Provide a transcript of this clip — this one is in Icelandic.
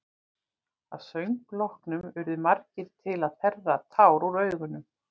Að söng loknum urðu margir til að þerra tár úr augum.